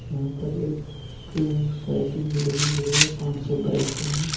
यहाँ पर एक साइकिल भी लगे हुए है पांच-छे बाइकें है।